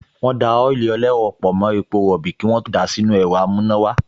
Wọ́n da ọ́ílì ẹlẹ́rọ pọ̀ mọ́ epo rọ̀bì kí wọ́n tó dà á sínú ẹ̀rọ amúnáwọlé